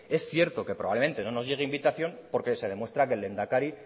es cierto que probablemente no nos llegue invitación porque se demuestra que el lehendakari